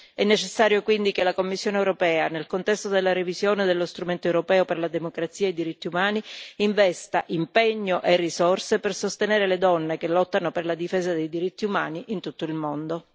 È necessario quindi che la Commissione europea, nel contesto della revisione dello strumento europeo per la democrazia e i diritti umani, investa impegno e risorse per sostenere le donne che lottano per la difesa dei diritti umani in tutto il mondo.